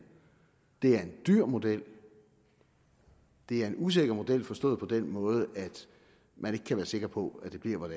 det er en dyr model det er en usikker model forstået på den måde at man ikke kan være sikker på at det bliver